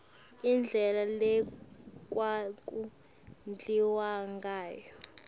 indlela lekwaku dliwangayo